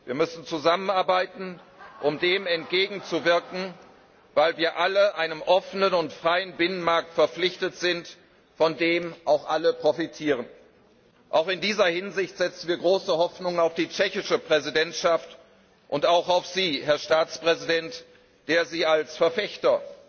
Wir müssen zusammenarbeiten, um dem entgegenzuwirken, weil wir alle einem offenen und freien Binnenmarkt verpflichtet sind, von dem auch alle profitieren. Auch in dieser Hinsicht setzen wir große Hoffnungen auf die tschechische Präsidentschaft und auch auf Sie, Herr Staatspräsident, der Sie als Verfechter